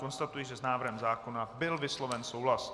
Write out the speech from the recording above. Konstatuji, že s návrhem zákona byl vysloven souhlas.